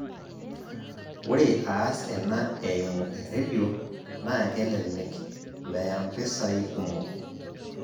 Ore aas ena eimu erradio na kelelek, meya mpisai kumok,